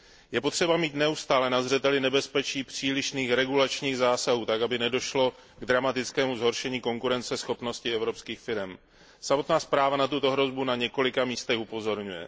Je potřeba mít neustále na zřeteli nebezpečí přílišných regulačních zásahů tak, aby nedošlo k dramatickému zhoršení konkurenceschopnosti evropských firem. Samotná zpráva na tuto hrozbu na několika místech upozorňuje.